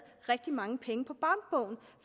rigtig mange penge på bankbogen